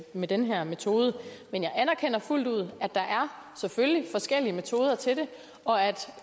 med den her metode men jeg anerkender fuldt ud at der selvfølgelig er forskellige metoder til det og at